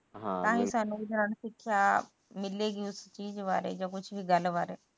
ਤਾਹੀ ਸਾਨੂੰ ਸਿੱਖਿਆ ਮਿਲੇਗੀ ਚੀਜ ਵਾਲੇ ਜਾ ਕੁਛ ਵੀ ਗੱਲ ਬਾਰੇ